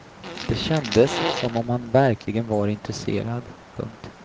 Det kändes som om han verkligen var intresserad. punkt